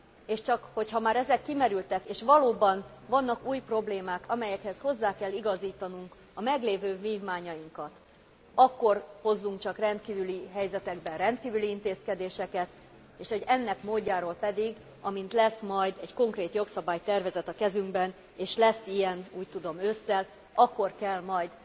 és csak hogyha már ezek kimerültek és valóban vannak új problémák, amelyekhez hozzá kell igazítanunk a meglévő vívmányainkat, akkor hozzunk csak rendkívüli helyzetekben rendkívüli intézkedéseket, és hogy ennek módjáról pedig, amint lesz majd egy konkrét jogszabálytervezet a kezünkben, és lesz ilyen úgy tudom ősszel akkor kell majd